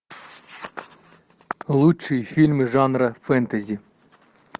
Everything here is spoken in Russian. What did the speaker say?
лучшие фильмы жанра фэнтези